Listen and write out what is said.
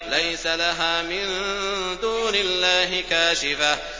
لَيْسَ لَهَا مِن دُونِ اللَّهِ كَاشِفَةٌ